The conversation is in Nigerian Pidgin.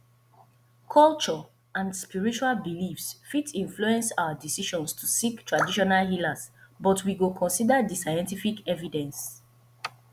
culture and spiritual beliefs fit influence our decisions to seek traditional healers but we go consider di scientific evidence